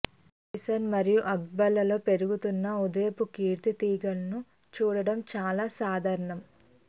ట్రెజైజెస్ మరియు అర్బర్స్ లలో పెరుగుతున్న ఉదయపు కీర్తి తీగలను చూడటం చాలా సాధారణం